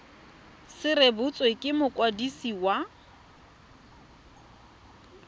se rebotswe ke mokwadisi wa